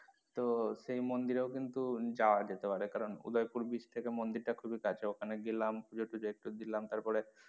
তো সেই মন্দিরেও কিন্তু যাওয়া যেতে পারে কারন উদয়পুর beach থেকে মন্দির টা কিন্তু খুবই কাছে ওখানে গেলাম পূজো টুজো একটু দিলাম তারপরে,